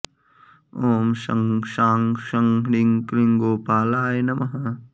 ॐ शं शां षं ह्रीं क्लीं गोपालाय नमः